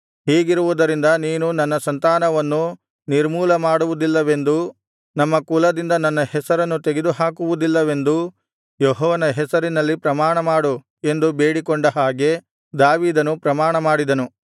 ಹೀಗಿರುವುದರಿಂದ ನೀನು ನನ್ನ ಸಂತಾನವನ್ನು ನಿರ್ಮೂಲಮಾಡುವುದಿಲ್ಲವೆಂದೂ ನಮ್ಮ ಕುಲದಿಂದ ನನ್ನ ಹೆಸರನ್ನು ತೆಗೆದುಹಾಕುವುದಿಲ್ಲವೆಂದೂ ಯೆಹೋವನ ಹೆಸರಿನಲ್ಲಿ ಪ್ರಮಾಣ ಮಾಡು ಎಂದು ಬೇಡಿಕೊಂಡ ಹಾಗೆ ದಾವೀದನು ಪ್ರಮಾಣಮಾಡಿದನು